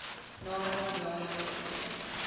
naamlik jaarlikse toekennings